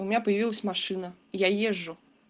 у меня появилась машина я езжу